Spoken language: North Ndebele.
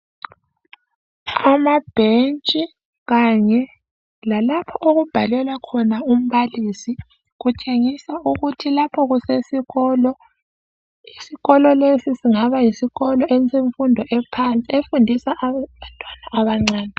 Amabhentshi kanye lalapho okubhalela khona umbalisi, kutshengisa ukuthi lapho kusesikolo. Isikolo lesi singaba yisikolo esemfundo ephansi efundisa abantwana abancane